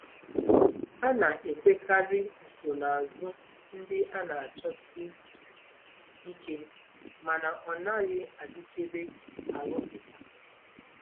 A na-ekwekarị nsonaazụ ndị a na-achọsi ike mana ọ naghị adịkebe arụpụta.